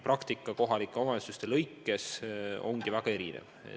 Praktika kohalike omavalitsuste lõikes on väga erinev.